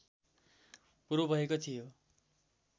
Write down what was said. पूर्व भएको थियो